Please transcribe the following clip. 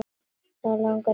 Langar ekki að vera hún.